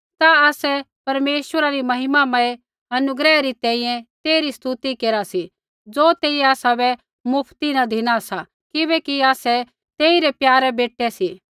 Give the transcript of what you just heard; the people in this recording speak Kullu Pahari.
ता आसै परमेश्वरा री महिमामय अनुग्रह री तैंईंयैं तेइरी स्तुति केरा सी ज़ो तेइयै आसाबै मुफ्ती न धिना सा किबैकि आसै तेइरै प्यारे बेटै रै सी